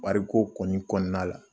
Wari ko kɔni kɔnɔna la